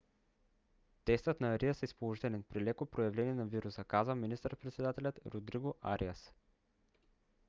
тестът на ариас е положителен при леко проявление на вируса казва министър-председателят родриго ариас